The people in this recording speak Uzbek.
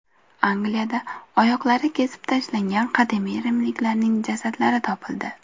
Angliyada oyoqlari kesib tashlangan qadimiy rimliklarning jasadlari topildi.